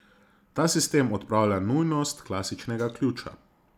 Ta sistem odpravlja nujnost klasičnega ključa.